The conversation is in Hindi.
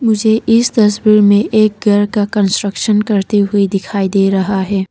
मुझे इस तस्वीर में एक घर का कंस्ट्रक्शन करते हुए दिखाई दे रहा है।